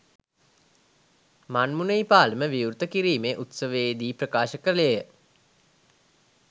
මන්මුනෙයි පාලම විවෘත කිරීමේ උත්සවයේ දී ප්‍රකාශ කළේය.